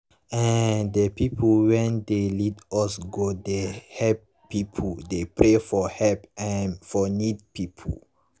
eeh de pipu wen d lead us go god dey helep pipu dey pray for help ermm for needy pipu